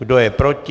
Kdo je proti?